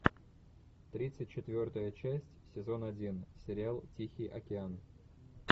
тридцать четвертая часть сезон один сериал тихий океан